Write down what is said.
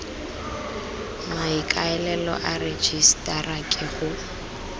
maikaelelo a rejisetara ke go